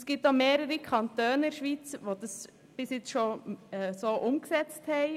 Es gibt mehrere Kantone in der Schweiz, welche das bereits umgesetzt haben.